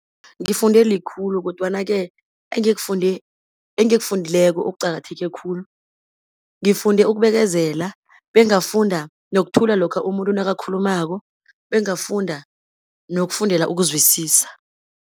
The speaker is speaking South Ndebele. Ngifunde likhulu, kodwana-ke engikufundileko okuqakatheke khulu, ngifunde ukubekezela, bengafunda nokuthula lokha umuntu nakakhulumako, bengafunda nokufundela ukuzwisisa.